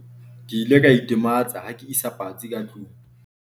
ke ile ka itematsa ha ke isa patsi ka tlong